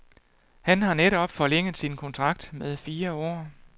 Han har netop forlænget sin kontrakt med fire år.